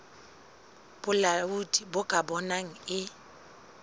bolaodi bo ka bonang e